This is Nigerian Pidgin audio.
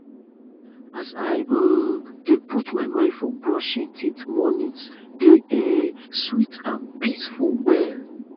as i um dey put mind for brushing teeth mornings dey um sweet and peaceful well